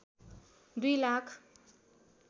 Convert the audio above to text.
दुई लाख